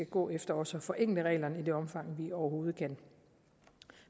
gå efter også at forenkle reglerne i det omfang vi overhovedet kan